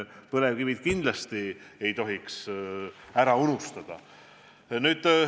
Põlevkivi kindlasti ei tohi ära unustada.